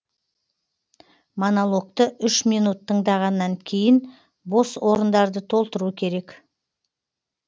монологты үш минут тыңдағаннан кейін бос орындарды толтыру керек